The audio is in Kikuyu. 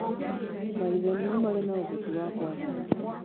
Maithe nĩmo mari na ũhoti wa kũathana